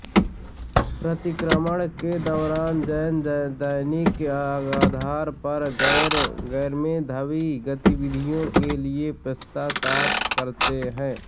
प्रतिक्रमण के दौरान जैन दैनिक आधार पर गैरमेधावी गतिविधियों के लिए पश्चाताप करते हैं